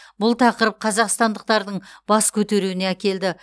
бұл тақырып қазақстандықтардың бас көтеруіне әкелді